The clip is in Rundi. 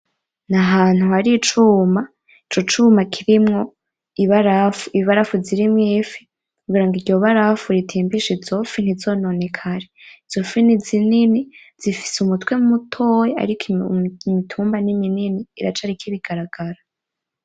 Ni ahantu hari icuma, ico cuma kirimwo ibarafu, ibarafu zirimwo ifi kugira ngo iryo barafu ritimbishe izo fi ntizononekare. Izo fi ni zinini zifise umutwe mutoya ariko imitumba ni minini iracariko ibigaragamba.